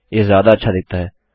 यह ज्यादा अच्छा दिखता है